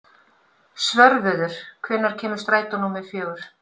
Svörfuður, hvenær kemur strætó númer fjögur?